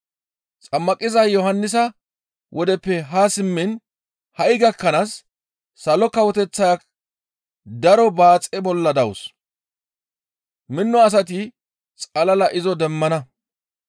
«Xammaqiza Yohannisa wodeppe haa simmiin ha7i gakkanaas Salo Kawoteththaya daro baaxe bolla dawus. Mino asati xalla izo demmana.